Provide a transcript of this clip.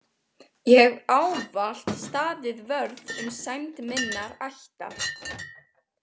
Ég hef ávallt staðið vörð um sæmd minnar ættar.